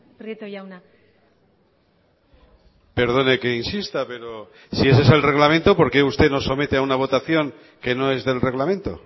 prieto jauna perdone que insista pero si ese es el reglamento por qué usted nos somete a una votación que no es del reglamento